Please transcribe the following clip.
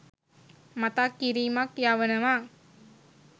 මතක් කිරීමක් යවනවා.